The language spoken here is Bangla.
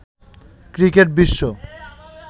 ক্রিকেট বিশ্ব